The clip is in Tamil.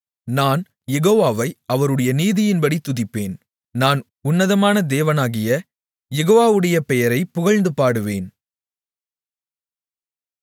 நான் யெகோவாவை அவருடைய நீதியின்படி துதிப்பேன் நான் உன்னதமான உன்னதமான தேவனாகிய யெகோவாடைய பெயரைப் புகழ்ந்து பாடுவேன்